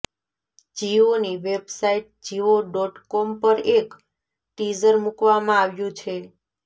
જીઓની website Jio dot com પર એક teaser મૂકવામાં આવ્યું છે